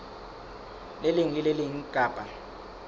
leng le le leng kapa